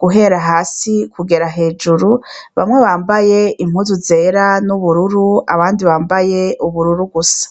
guhera hasi kugeza hejuru, bamwe bambaye impuzu zera n'ubururu, abandi bambaye ubururu gusa.